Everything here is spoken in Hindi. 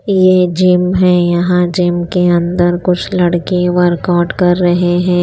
यह जिम है यहां जिम के अंदर कुछ लड़के वर्कआउट कर रहे हैं।